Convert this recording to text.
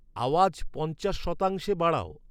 আওয়াজ পঞ্চাশ শতাংশে বাড়াও